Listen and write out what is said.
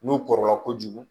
N'u kɔrɔla kojugu